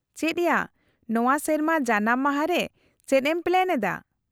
-ᱪᱮᱫ ᱭᱟ, ᱱᱚᱶᱟ ᱥᱮᱨᱢᱟ ᱡᱟᱱᱟᱢ ᱢᱟᱦᱟ ᱨᱮ ᱪᱮᱫ ᱮᱢ ᱯᱞᱮᱱ ᱮᱫᱟ ?